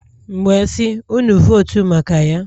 M wee sị, unu votu maka Ya.